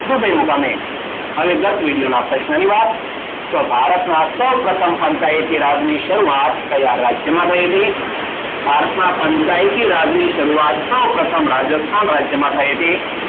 Dubai મુકામે. હવે ગત વિડીયોના પ્રશ્નની વાત. તો ભારતમાં સૌપ્રથમ પંચાયતી રાજની શરૂઆત કયા રાજ્યમાં થઈ હતી? ભારતમાં પંચાયતી રાજની શરૂઆત સૌપ્રથમ રાજસ્થાન રાજ્યમાં થઈ હતી.